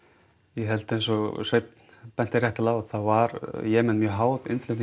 ég held eins og Sveinn benti réttilega á þá var Jemen mjög háð innflutning